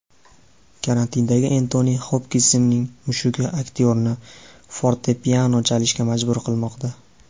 Karantindagi Entoni Xopkinsning mushugi aktyorni fortepiano chalishga majbur qilmoqda.